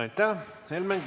Aitäh!